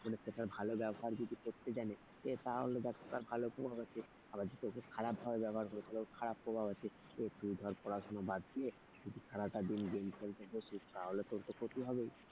মানুষ যদি সেটার ভালো ব্যবহার যদি করতে জানে। তাহলে তার ভালো প্রভাব আছে। আবার যদি তাকে খারাপ ভাবে ব্যবহার করে তাহলে তার খারাপ প্রভাব আছে। এই যে তুই ধর পড়াশোনা বাদ দিয়ে যদি সারাটা দিন গেম খেলতে বসিস তাহলে তোর তো ক্ষতি হবেই।